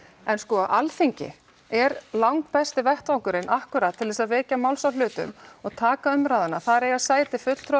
en Alþingi er langbesti vettvangurinn akkúrat til þess að vekja máls á hlutum og taka umræðuna þar eiga sæti fulltrúar